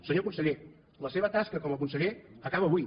senyor conseller la seva tasca com a conseller acaba avui